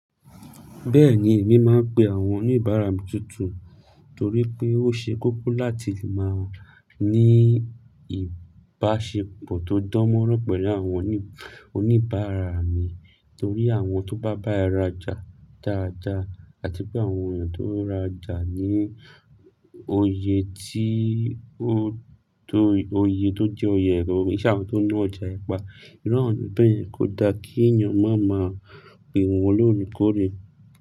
Bẹ́ẹ̀ni èmi máa ń pe àwọn oníbàárà mi tuntun torí pé ó ṣe kókó láti lè máa ní ìbáṣepọ̀ tó dánmọ́nrán pẹ̀lú àwọn oníbàárà mi torí àwọn tó bá bá ẹ rajà dáadáa àti pé àwọn èèyàn tó rajà ní òye tí ó tó, òye tó jẹ́ òye gangangan, kíi ṣe àwọn tó ń ná ọjà pa, irú àwọn bẹ́ẹ̀ kò da kí èèyàn máa ma pe wọ́n lóòrèkóòrè.